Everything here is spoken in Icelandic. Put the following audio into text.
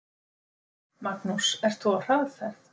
Magnús: Ert þú á hraðferð?